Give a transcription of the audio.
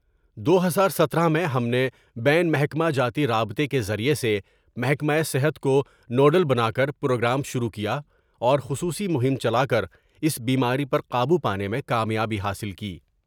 دو ہزار سترہ میں ہم نے بین محکمہ جاتی رابطہ کے ذریعہ سے محکمہ صحت کونو ڈل بنا کر پروگرام شروع کیا اور خصوصی مہم چلا کر اس بیماری پر قابو پانے میں کامیابی حاصل کی ۔